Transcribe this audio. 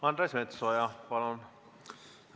Andres Metsoja, palun!